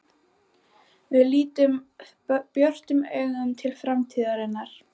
Við lítum björtum augum til framtíðarinnar.